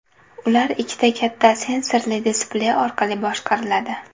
Ular ikkita katta sensorli displey orqali boshqariladi.